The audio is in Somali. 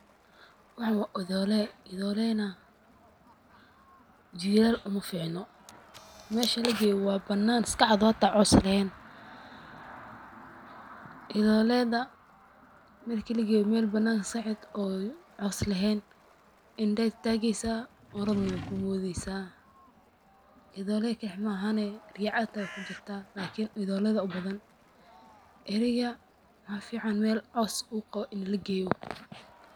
Waxan waa idoole, idoole na jilal uma ficno, mesha lageye waa banan iska cad oo hata cows leheyn, idooleda Mel keligeda imel ska cad oo cows leheyn indhahay tageysa orod na way kumoodeysa idoole keli ma ahan ricad hata way kujirta lakini idoole aya ubadan, ariga waxaa fican Mel cows u qabo ini lageeyo